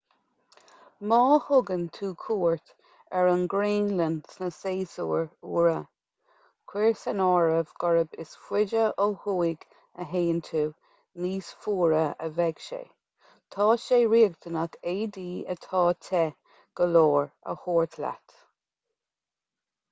má thugann tú cuairt ar an ngraonlainn sna séasúir fhuara cuir san áireamh gurb is faide ó thuaidh a théann tú níos fuaire a bheidh sé tá sé riachtanach éadaí atá te go leor a thabhairt leat